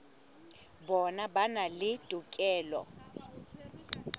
bona ba na le tokelo